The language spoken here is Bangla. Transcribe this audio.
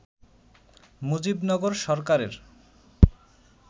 মুজিবনগর সরকারের